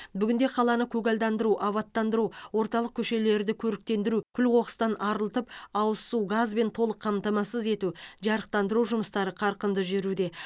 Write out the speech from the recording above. бүгінде қаланы көгалдандыру абаттандыру орталық көшелерді көріктендіру күл қоқыстан арылтып ауыз су газбен толық қамтамасыз ету жарықтандыру жұмыстары қарқынды жүруде